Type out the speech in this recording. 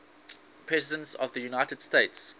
presidents of the united states